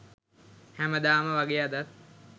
හැමදාම වගේ අදත්